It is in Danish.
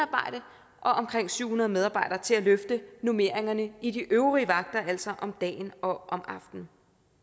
omkring syv hundrede medarbejdere til at løfte normeringerne i de øvrige vagter altså om dagen og om aftenen